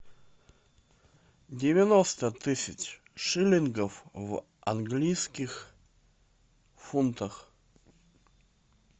девяносто тысяч шиллингов в английских фунтах